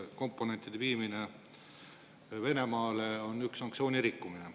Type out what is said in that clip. Komponentide viimine Venemaale on sanktsiooni rikkumine.